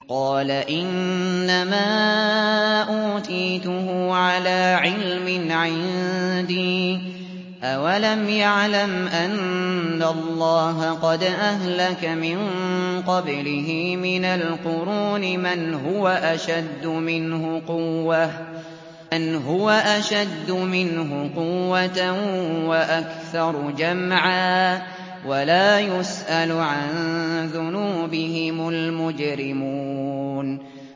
قَالَ إِنَّمَا أُوتِيتُهُ عَلَىٰ عِلْمٍ عِندِي ۚ أَوَلَمْ يَعْلَمْ أَنَّ اللَّهَ قَدْ أَهْلَكَ مِن قَبْلِهِ مِنَ الْقُرُونِ مَنْ هُوَ أَشَدُّ مِنْهُ قُوَّةً وَأَكْثَرُ جَمْعًا ۚ وَلَا يُسْأَلُ عَن ذُنُوبِهِمُ الْمُجْرِمُونَ